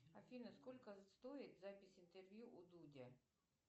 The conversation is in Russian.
афина сколько стоит запись интервью у дудя